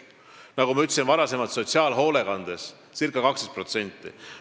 Nagu ma enne ütlesin, sotsiaalhoolekandes on palgatõus circa 12%.